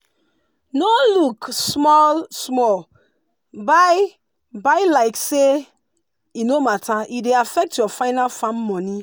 no look small-small buy buy like say e no matter e dey affect your final farm money.